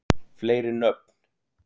fleiri nöfn